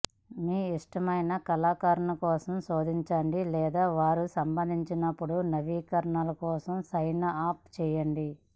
మీ ఇష్టమైన కళాకారుని కోసం శోధించండి లేదా వారు సంభవించినప్పుడు నవీకరణల కోసం సైన్ అప్ చేయండి